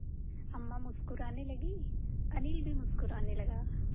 अम्मा मुस्कराने लगीं अनिल भी मुस्कराने लगा